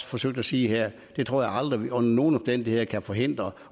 forsøgt at sige her det tror jeg aldrig vi under nogen omstændigheder kan forhindre